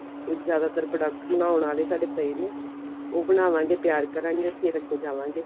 ਜ਼ਿਆਦਾਤਰ product ਬਣਾਉਣ ਵਾਲੇ ਸਾਡੇ ਪਏ ਨੇ ਉਹ ਬਣਾਵਾਂਗੇ ਤਿਆਰ ਕਰਾਂਗੇ ਫਿਰ ਅੱਗੇ ਜਾਵਾਂਗੇ